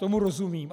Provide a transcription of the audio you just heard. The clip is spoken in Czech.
Tomu rozumím.